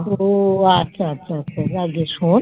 ওহ আচ্ছা আচ্ছা আচ্ছা আচ্ছা যাগ্গে শোন,